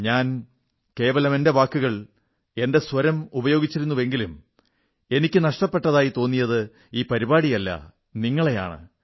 ഞാൻ കേവലം എന്റെ വാക്കുകൾ എന്റെ സ്വരം ഉപയോഗിച്ചിരുന്നെങ്കിലും എനിക്ക് ഇല്ലാത്തതായി തോന്നിയത് ഈ പരിപാടിയല്ല നിങ്ങളെയാണ്